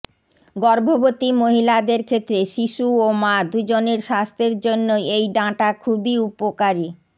গর্ভবতী মহিলাদের ক্ষেত্রে শিশু ও মা দুজনের স্বাস্থ্যের জন্যই এই ডাঁটা খুবই উপকারী